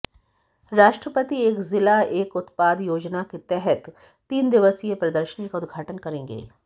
राष्ट्रपति एक जिला एक उत्पाद योजना के तहत तीन दिवसीय प्रदर्शनी का उदघाटन करेंगे